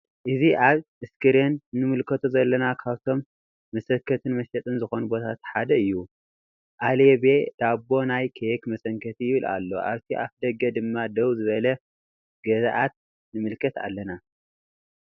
እዚ አብ እስክሪን እንምልከቶ ዘለና ካብቶም መሰንከትን መሸጥን ዝኮኑ ቦታታት ሓደ እዩ::አለቤ ዳቦ ና ኬክ መሰንከቲ ይብል አሎ::አብቲ አፍደገ ድማ ደው ዝበሉ ገዛእት ንምልከት አለና::